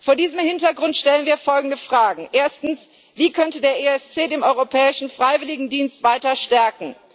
Vor diesem Hintergrund stellen wir folgende Fragen Erstens Wie könnte der ESC den Europäischen Freiwilligendienst weiter stärken?